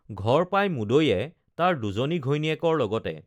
ঘৰ পাই মুদৈয়ে তাৰ দুজনী ঘৈণীয়েকৰ লগতে